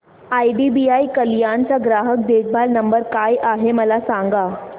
IDBI Kalyan चा ग्राहक देखभाल नंबर काय आहे मला सांगा